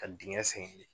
Ka dingɛ sen kelen